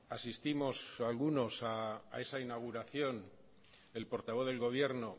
asistimos algunos a esa inauguración el portavoz del gobierno